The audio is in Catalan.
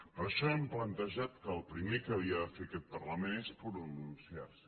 per això hem plantejat que el primer que havia de fer aquest parlament és pronunciar se